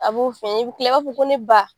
A b'o f'i ɲɛna i bi kila i b'a fɔ ko ne ba.